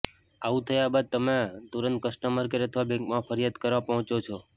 આવું થયા બાદ તમે તુરંત કસ્ટમર કેર અથવા બેંકમાં ફરિયાદ કરવા પહોંચો છો